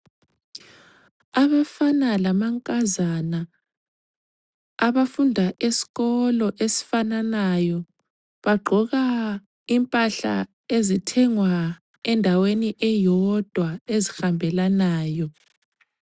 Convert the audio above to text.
Abafana lamankazana abafunda esikolo esifananayo bagqoka impahla ezithengwa endaweni eyodwa ezihambelanayo.